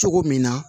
Cogo min na